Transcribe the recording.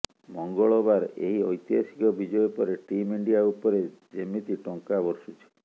ମଙ୍ଗଳବାର ଏହି ଐତିହାସିକ ବିଜୟ ପରେ ଟିମ୍ ଇଣ୍ଡିଆ ଉପରେ ଯେମିତି ଟଙ୍କା ବର୍ଷୁଛି